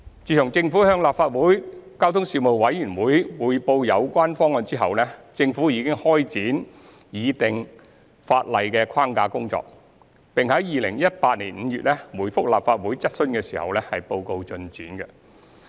自政府向立法會交通事務委員會匯報有關方案後，政府已開展擬定法例框架的工作，並於2018年5月回覆立法會質詢時報告進展。